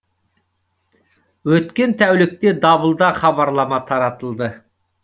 өткен тәулікте дабылда хабарлама таратылды